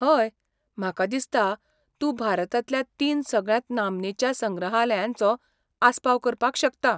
हय! म्हाका दिसता, तूं भारतांतल्या तीन सगळ्यांत नामनेच्या संग्रहायलयांचो आसपाव करपाक शकता.